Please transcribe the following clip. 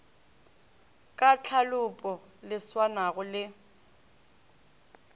ka tlhalopo le swanago le